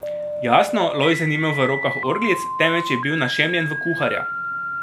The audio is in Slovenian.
Jasno, Lojze ni imel v rokah orglic, temveč je bil našemljen v kuharja.